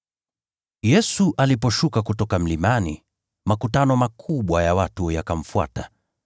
Yesu aliposhuka kutoka mlimani, makutano makubwa ya watu yakamfuata.